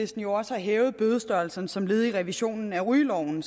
jo også har hævet bødestørrelserne som led i revisionen af rygeloven